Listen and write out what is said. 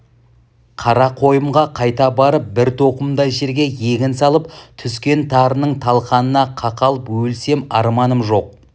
қарақойынға қайта барып бір тоқымдай жерге егін салып түскен тарының талқанына қақалып өлсемарманым жоқ